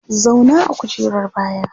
Zauna a kujerar baya!